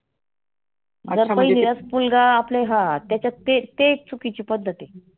पहिलीलाच मुलगा हा त्याच्यात ते ते एक चुकीची पद्धत आहे.